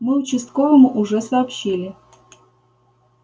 мы участковому уже сообщили